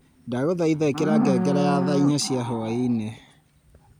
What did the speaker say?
ndaguthaitha ikira ngengere ya thaa inya cia hwaiini